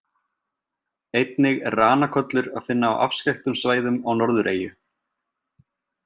Einnig er ranakollur að finna á afskekktum svæðum á Norðureyju.